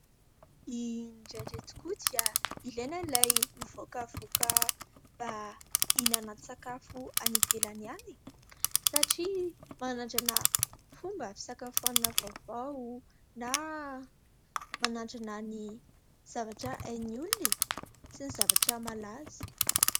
Indraindray tokoa dia ilaina ilay mivoakavoaka mba hihinan-tsakafo any ivelany any e ! Satria manandrana fomba fisakafoanana vaovao, na manandrana ny zavatra hain'ny olona sy ny zavatra malaza.